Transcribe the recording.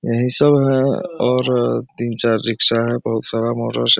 यही सब है और तीन-चार रिक्शा है बहुत सारा मोटर --